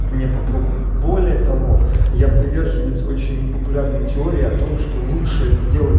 не попробовать более того я приверженец очень непопулярной теории о том что лучше сделать